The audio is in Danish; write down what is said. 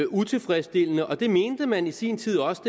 utilfredsstillende og det mente man i sin tid også